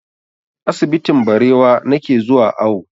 Asibitin Barewa na ke zuwa awo